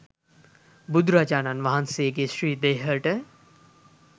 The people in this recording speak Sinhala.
බුදුරජාණන් වහන්සේගේ ශ්‍රී දේහයට